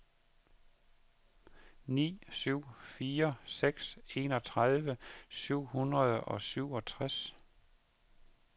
ni syv fire seks enogtredive syv hundrede og syvogtres